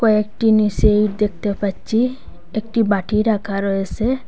কয়েকটি নীছে ইট দেখতে পাচ্চি একটি বাটি রাখা রয়েসে।